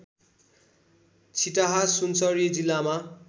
छिटाहा सुनसरी जिल्लामा